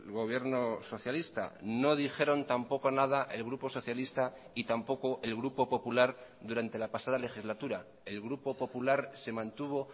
gobierno socialista no dijeron tampoco nada el grupo socialista y tampoco el grupo popular durante la pasada legislatura el grupo popular se mantuvo